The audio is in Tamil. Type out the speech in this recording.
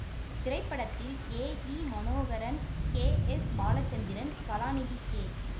இத்திரைப்படத்தில் ஏ இ Manoharan K S Balachandran Kalanidhi K